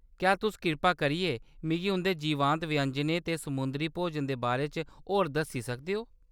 क्या तुस कृपा करियै मिगी उंʼदे जीवंत व्यंजनें ते समुंदरी भोजन दे बारे च होर दस्सी सकदे ओ ?